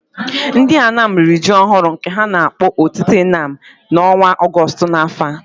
Ndị Anam riri ji ọhụrụ, nke ha na-akpọ Otite Anam, n’ọnwa Ọgọstụ n’afọ a.